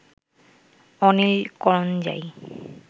Anil Karanjai